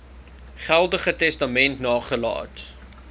geldige testament nagelaat